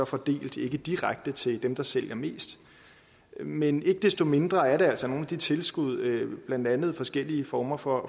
fordelt ikke direkte til dem der sælger mest men ikke desto mindre er det altså nogle af de tilskud blandt andet forskellige former for